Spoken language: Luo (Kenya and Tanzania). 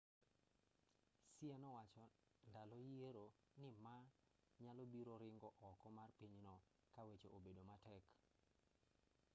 hsieh nowacho ndalo yiero ni ma nyalobiro ringo oko mar pinyno kaweche obedo matek